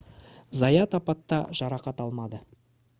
заят апатта жарақат алмады